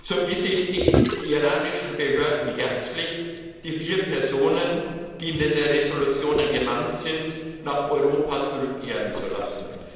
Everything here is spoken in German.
So bitte ich die iranischen Behörden herzlich, die vier Personen, die in den Entschließungen genannt sind, nach Europa zurückkehren zu lassen.